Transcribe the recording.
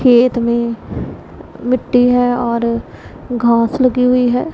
खेत में मिट्टी है और घास लगी हुई है।